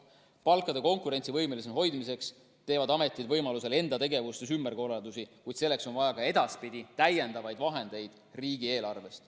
Palkade konkurentsivõimelisena hoidmiseks teevad ametid võimaluse korral enda tegevuses ümberkorraldusi, kuid selleks on vaja ka edaspidi täiendavaid vahendeid riigieelarvest.